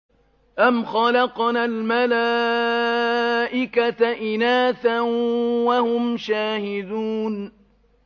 أَمْ خَلَقْنَا الْمَلَائِكَةَ إِنَاثًا وَهُمْ شَاهِدُونَ